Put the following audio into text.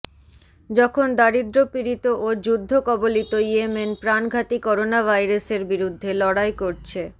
যখন দারিদ্র্যপীড়িত ও যুদ্ধকবলিত ইয়েমেন প্রাণঘাতী করোনাভাইরাসের বিরুদ্ধে লড়াই করছে